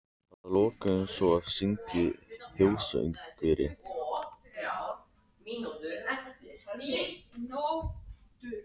Að lokum var svo sunginn þjóðsöngurinn.